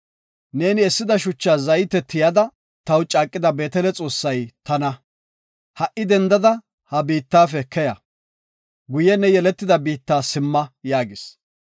Neeni essida shucha zayte tiyada taw caaqida Beetele Xoossay tana. Ha7i dendada ha biittafe keya. Guye ne yeletida biitta simma’ gis” yaagis.